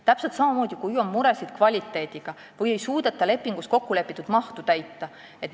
Täpselt samamoodi on alus see, kui on muresid kvaliteediga või ei suudeta lepingus kokkulepitud mahtu täita.